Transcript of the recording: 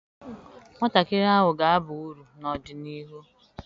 Nwatakịrị ahụ ga-aba uru n'ọdịnihu.